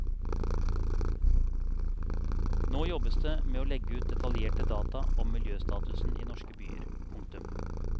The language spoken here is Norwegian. Nå jobbes det med å legge ut detaljerte data om miljøstatusen i norske byer. punktum